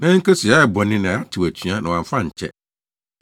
“Yɛayɛ bɔne, na yɛatew atua na wamfa ankyɛ.